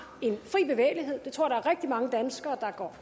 fri bevægelighed det tror jeg der er rigtig mange danskere